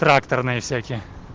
тракторные всякие